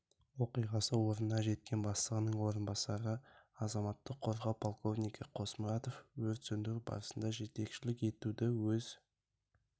оқиғасы орнына жеткен бастығының орынбасары азаматтық қорғау полковнигі қосмұратов өрт сөндіру барысына жетекшілік етуді өз